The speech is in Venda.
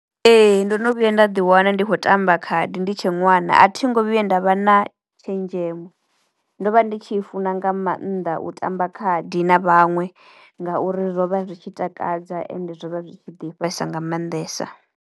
Ee ndono vhuya nda ḓi wana ndi khou tamba khadi ndi tshe ṅwana, a thi ngo vhuya nda vha na tshenzhemo. Ndo vha ndi tshi funa nga maanḓa u tamba khadi na vhaṅwe ngauri zwo vha zwi tshi takadza ende zwo vha zwi tshi ḓifhesa nga mannḓesa.